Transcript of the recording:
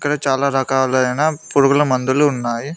ఇక్కడ చాలా రకాలైన పురుగుల మందులు ఉన్నాయి.